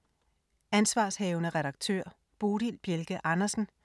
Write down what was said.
Ansv. redaktør: Bodil Bjelke Andersen